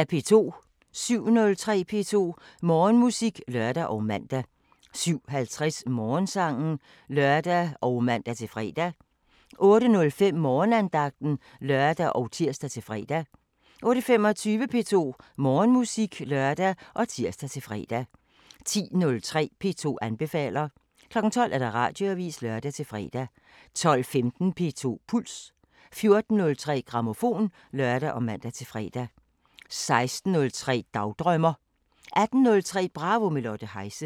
07:03: P2 Morgenmusik (lør og man) 07:50: Morgensangen (lør og man-fre) 08:05: Morgenandagten (lør og tir-fre) 08:25: P2 Morgenmusik (lør og tir-fre) 10:03: P2 anbefaler 12:00: Radioavisen (lør-fre) 12:15: P2 Puls 14:03: Grammofon (lør og man-fre) 16:03: Dagdrømmer 18:03: Bravo – med Lotte Heise